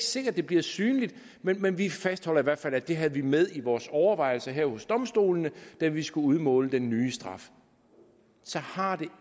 sikkert det bliver synligt men men vi fastholder i hvert fald at det havde vi med i vores overvejelser her hos domstolene da vi skulle udmåle den nye straf så har det